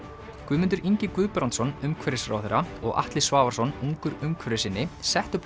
Guðmundur Ingi Guðbrandsson umhverfisráðherra og Atli Svavarsson ungur umhverfissinni settu